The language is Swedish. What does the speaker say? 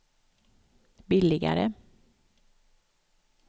billigare